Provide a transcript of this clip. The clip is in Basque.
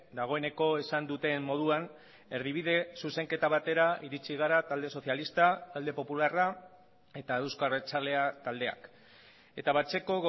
dagoeneko esan duten moduan erdibide zuzenketa batera iritsi gara talde sozialista talde popularra eta euzko abertzalea taldeak eta batzeko